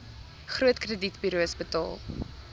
groot kredietburos betaal